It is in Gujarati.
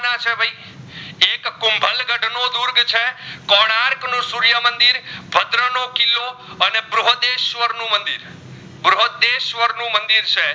કોનરક નું સૂર્ય મંદિર ભદ્ર નો કિલ્લો અને બૃહદેશ્વર નું મંદિર બૃહદેશ્વર નું મંદિર છે.